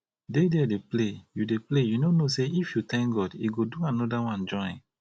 dey there dey play you dey play you no know say if you thank god he go do another one join